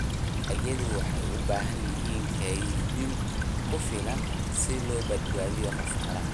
Dalagyadu waxay u baahan yihiin kaydin ku filan si loo baabi'iyo khasaaraha.